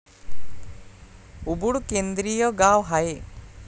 Ubud केंद्रीय गाव आहे.